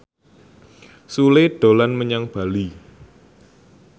Sule dolan menyang Bali